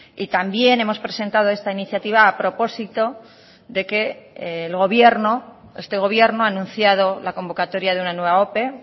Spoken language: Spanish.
y también hemos presentado esta iniciativa a propósito de que el gobierno este gobierno ha anunciado la convocatoria de una nueva ope